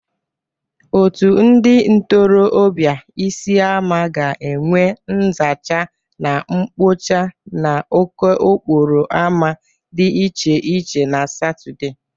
Otu ndị ntorọbịa Isiama ga-enwe nzacha na mpocha n'okoporo ama dị iche iche na Satọde.